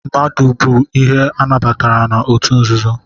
Mmadu bu ihe anabatara na otu nzuzo?